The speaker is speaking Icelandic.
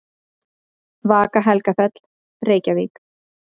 Vaka Helgafell, Reykjavík.